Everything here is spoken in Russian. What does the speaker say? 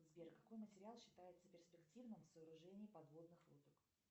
сбер какой материал считается перспективным в сооружении подводных лодок